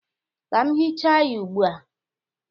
Ka m hịcha ya ugbu a.